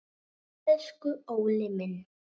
Elsku Óli minn.